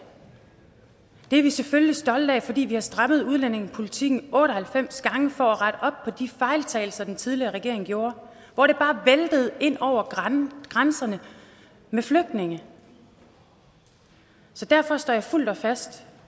det er vi selvfølgelig stolte af fordi vi har strammet udlændingepolitikken otte og halvfems gange for at rette op på de fejltagelser den tidligere regering gjorde hvor det bare væltede ind over grænserne med flygtninge så derfor står jeg fuldt og fast